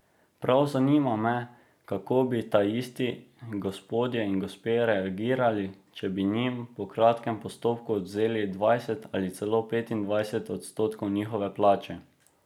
Prav zanima me, kako bi taisti gospodje in gospe reagirali, če bi njim po kratkem postopku odvzeli dvajset ali celo petindvajset odstotkov njihove plače.